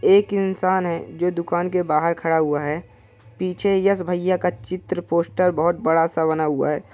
एक इंसान है जो दुकान के बाहर खड़ा हुआ है| पीछे यश भैया का चित्र पोस्टर बहुत बड़ा-सा बना हुआ है ।